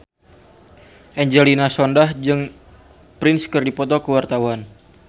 Angelina Sondakh jeung Prince keur dipoto ku wartawan